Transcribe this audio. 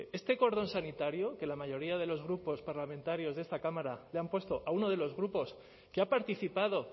este cordón sanitario que la mayoría de los grupos parlamentarios de esta cámara le ha puesto a uno de los grupos que ha participado